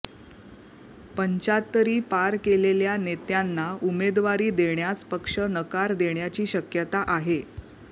पंचाहत्तरी पार केलेल्या नेत्यांना उमेदवारी देण्यास पक्ष नकार देण्याची शक्यता आहे